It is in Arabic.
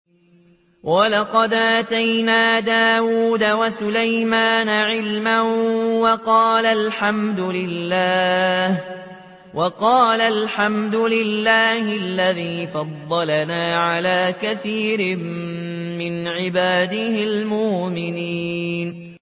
وَلَقَدْ آتَيْنَا دَاوُودَ وَسُلَيْمَانَ عِلْمًا ۖ وَقَالَا الْحَمْدُ لِلَّهِ الَّذِي فَضَّلَنَا عَلَىٰ كَثِيرٍ مِّنْ عِبَادِهِ الْمُؤْمِنِينَ